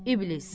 İblis.